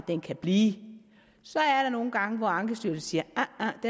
den kan blive så er der nogle gange hvor ankestyrelsen siger